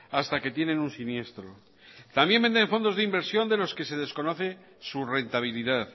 hasta que tienen un siniestro también venden fondos de inversión de los que se desconocen su rentabilidad